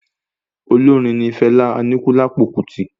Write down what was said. Olórin ní Fela Anikulapo Kuti